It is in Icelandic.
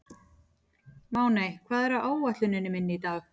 Máney, hvað er á áætluninni minni í dag?